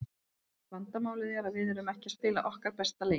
Vandamálið er að við erum ekki að spila okkar besta leik.